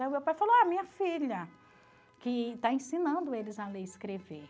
Aí o meu pai falou, ah, minha filha, que está ensinando eles a ler e escrever.